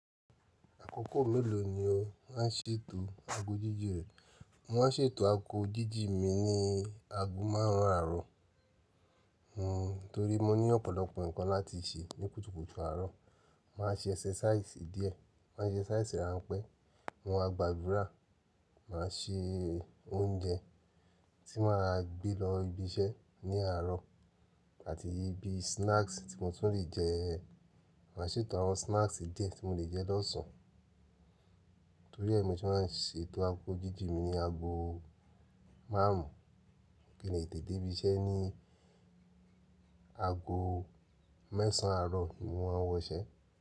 Àkókò mélòó ni o má ń ṣètò ago jíjìn rẹ? Mo má ń ṣètò ago jíjìn mi ní ago márùn-ún àárọ̀, n torí mo ní ọ̀pọ̀lọpọ̀ nǹkan láti ṣe ní kùtùkùtù àárọ̀. Má a ṣe ẹsẹsáísì díẹ̀, má a ṣe ẹsẹsáísì ránpẹ́, mo má a gba ìgbadúra, mà a ṣe oúnjẹ tí mà a gbé lọ ibi iṣẹ́ ní àárọ̀ àti bi snacks tí mo tún lè jẹ. Mà a ṣètò àwọn snacks díẹ̀ tí mo lè jẹ lọ́sàn. Torí ẹni mọ́ se má ń ṣètò ago jíjìn mi ní ago márùn kí n lè tètè dé ibi iṣẹ́ ní ago mẹ́sàn àárọ̀ ni mọ́n ma wọṣẹ́